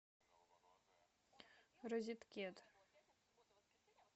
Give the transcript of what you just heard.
розеткед